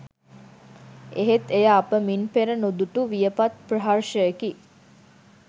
එහෙත් එය අප මින් පෙර නුදුටු වියපත් ප්‍රහර්ෂයකි